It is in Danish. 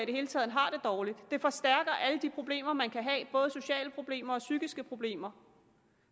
det hele taget har det dårligt det forstærker alle de problemer man kan have både sociale problemer og psykiske problemer